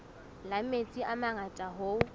la metsi a mangata hoo